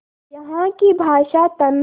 यहाँ की भाषा तमिल